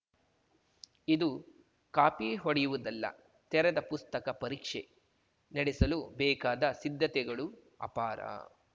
ಇದು ಕಾಪಿ ಹೊಡೆಯುವುದಲ್ಲ ತೆರೆದ ಪುಸ್ತಕ ಪರೀಕ್ಷೆ ನಡೆಸಲು ಬೇಕಾದ ಸಿದ್ಧತೆಗಳು ಅಪಾರ